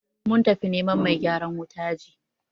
Mun tafi neman mai gyaran wuta ji.